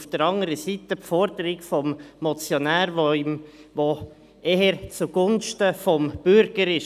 Auf der anderen Seite haben wir die Forderungen des Motionärs, die eher zugunsten des Bürgers ist.